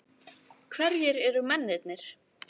Hverjir eru mennirnir?